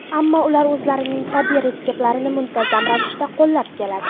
Ammo ular o‘zlarining tabiiy retseptlarini muntazam ravishda qo‘llab keladi.